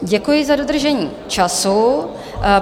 Děkuji za dodržení času.